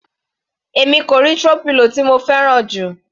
Èmi kò rí throw pillow tí mo fẹ́ràn jù.